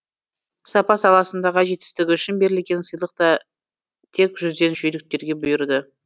сапа саласындағы жетістігі үшін берілген сыйлықты тек жүзден жүйріктерге бұйырды